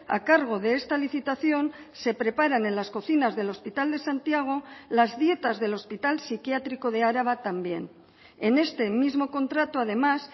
a cargo de esta licitación se preparan en las cocinas del hospital de santiago las dietas del hospital psiquiátrico de araba también en este mismo contrato además